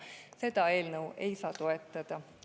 Seda eelnõu ei saa toetada.